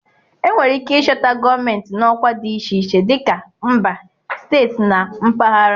Enwere ike ịchọta gọọmentị n'ọkwa dị iche iche, dịka mba, steeti na mpaghara